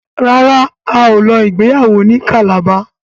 ràrá ào ló ìgbéyàwó ní Calabar.